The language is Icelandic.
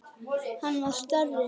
Það var starri!